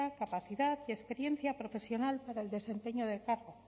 capacidad y experiencia profesional para el desempeño del cargo